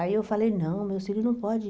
Aí eu falei, não, meus filho não pode.